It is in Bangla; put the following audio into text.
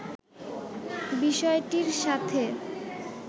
বিষয়টির সাথে